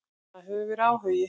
Það hefur verið áhugi.